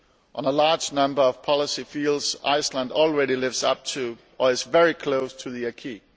In a large number of policy fields, Iceland already lives up to or is very close to the acquis.